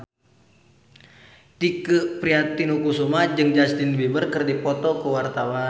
Tike Priatnakusuma jeung Justin Beiber keur dipoto ku wartawan